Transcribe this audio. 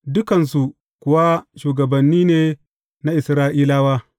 Dukansu kuwa shugabanni ne na Isra’ilawa.